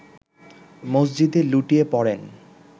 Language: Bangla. মসজিদে লুটিয়ে পড়েন